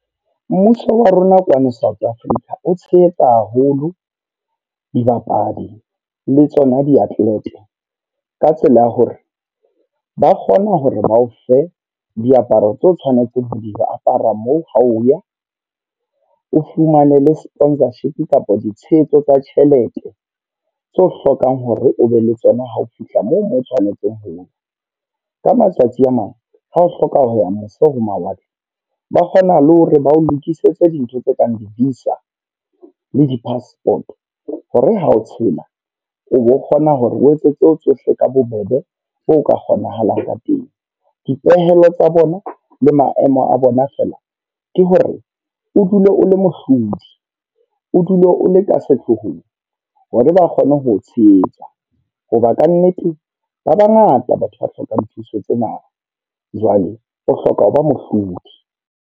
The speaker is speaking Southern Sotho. Mmuso wa rona kwano South Africa, o tshehetsa haholo dibapadi le tsona di athlete. Ka tsela ya hore, ba kgona hore ba o fe diaparo tse o tshwanetseng ho diapara moo ha o ya. O fumane le sponsorship kapa ditshehetso tsa tjhelete, tse o hlokang hore o be le tsona ha o fihla moo mo o tshwanetseng hoya. Ka matsatsi a mang, ha o hloka ho ya mose ho mawatle. Ba kgona le hore ba o lokisetse dintho tse kang di-visa le di-passport, hore ha o tshela o kgona hore o etsetse tsohle ka bo bobe bo ka kgonahalang ka teng. Dipehelo tsa bona le maemo a bona fela ke hore, o dule o le mohlodi, o dule o le ka sehloohong hore ba kgone ho itshehetsa. Hoba kannete ba bangata batho ba hlokang thuso tsena jwale o hloka ho ba mohlodi.